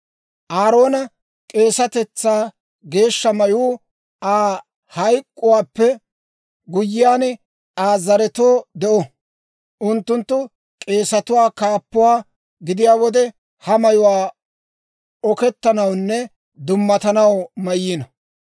«Aaroona k'eesatetsaa geeshsha mayuu Aa hayk'k'uwaappe guyyiyaan Aa zaretoo de'o; unttunttu k'eesatuwaa kaappuwaa gidiyaa wode ha mayuwaa oketanawunne dumatanaw mayyino.